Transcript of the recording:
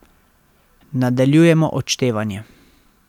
Nadaljujemo odštevanje.